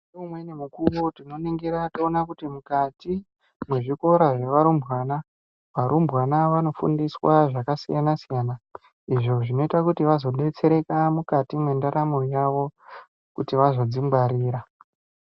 Ngeumweni mukuyo tinoningira toona kuti mukati mwezvikora zvevarumbwana varumbwana vanofundiswa zvakasiyana siyana izvo zvinoita kuti vazodetsereka mukati mwendaramo yavo kuti vazodzingwarira.